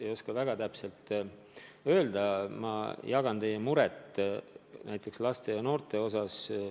Aga ma jagan teie muret laste ja noorte vähese liikumise pärast.